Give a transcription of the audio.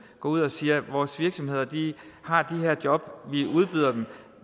går ud og siger at vores virksomheder har de her job vi udbyder dem